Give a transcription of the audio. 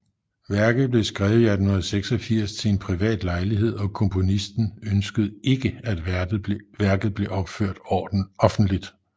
Værket blev skrevet i 1886 til en privat lejlighed og komponisten ønskede ikke at værket blev opført offentligt